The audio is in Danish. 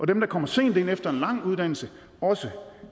dem der kommer sent ind efter en lang uddannelse også